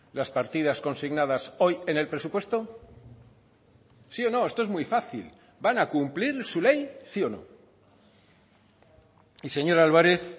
las partidas consignadas hoy en el presupuesto sí o no esto es muy fácil van a cumplir su ley sí o no y señor álvarez